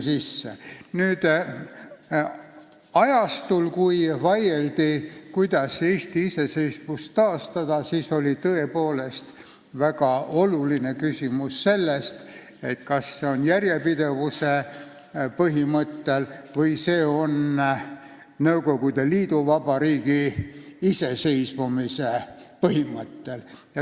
Sel ajal, kui vaieldi, kuidas Eesti iseseisvust taastada, siis oli tõepoolest väga oluline küsimus, kas see toimub järjepidevuse põhimõttel või Nõukogude Liidu vabariigi iseseisvumise põhimõttel.